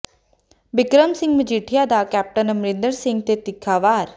ਬਿਕਰਮ ਸਿੰਘ ਮਜੀਠੀਆ ਦਾ ਕੈਪਟਨ ਅਮਰਿੰਦਰ ਸਿੰਘ ਤੇ ਤਿੱਖਾ ਵਾਰ